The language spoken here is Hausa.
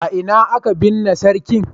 A ina aka binne sarkin?